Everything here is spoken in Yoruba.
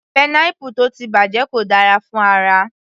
Pineapple tó ti bàjẹ́ kò dára fún ara